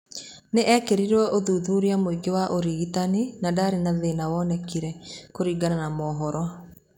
Nĩ ekirwo ũthuthuria mũingĩ wa ũrigitani na ndarĩ na thĩna wonekire, kũringana na maũhoro